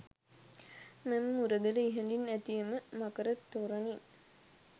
මෙම මුරගල ඉහළින් ඇති එම මකර තොරණින්